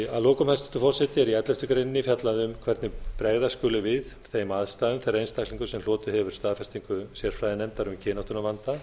að lokum hæstvirtur forseti er í elleftu greinar fjallað um hvernig bregðast skuli við þeim aðstæðum þegar einstaklingur sem hlotið hefur staðfestingu sérfræðinefndar um kynáttunarvanda